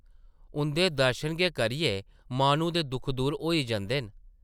उंʼदे दर्शन गै करियै माह्नू दे दुख दूर होई जंदे न ।